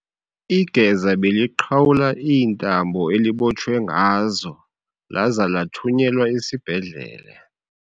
Igeza beliqhawula iintambo elibotshwe ngazo laza lathunyelwa esibhedlele.